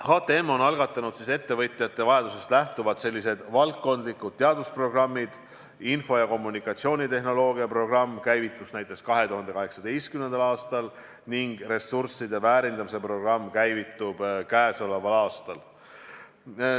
HTM on algatanud ettevõtjate vajadusest lähtuvalt valdkondlikud teadusprogrammid: info- ja kommunikatsioonitehnoloogia programm käivitus näiteks 2018. aastal ning ressursside väärindamise programm käivitub käesoleval aastal.